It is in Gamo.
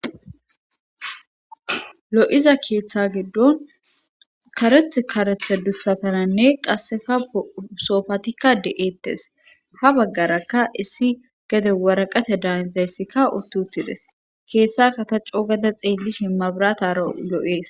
lo7iza keeththa giddon kareth karethe dutsatananne qassefa soofatikka de7eettes ha baggarakka issi gede waraqate daanizayssikka uttutides keeththa kataco gada xeelli shimmabiratara lo7ees